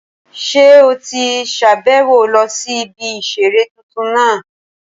Ṣé o ti sàbẹ̀wo lọ sí ibi ìseré tuntun náà?